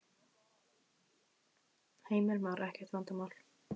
Heimir Már: Ekkert vandamál?